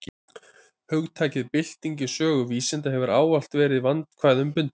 Hugtakið bylting í sögu vísinda hefur ávallt verið vandkvæðum bundið.